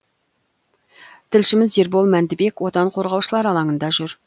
тілшіміз ербол мәндібек отан қорғаушылар алаңында жүр